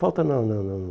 Falta não, não, não.